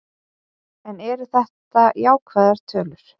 En eru þetta jákvæðar tölur?